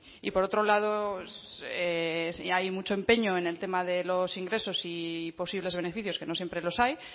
y por otro lado hay mucho empeño en el tema de los ingresos y posibles beneficios que no siempre los hay